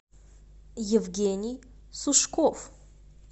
евгений сушков